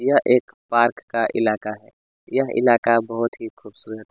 यह एक पार्क का इलाका है यह इलाका बहुत ही खूबसूरत --